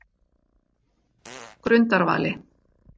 Grundarvali